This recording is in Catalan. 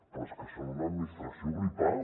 però és que són una administració gripada